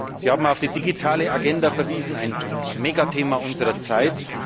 Sie haben auf die Digitale Agenda verwiesen, ein Megathema unserer Zeit.